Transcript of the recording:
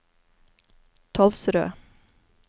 Tolvsrød